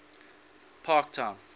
parktown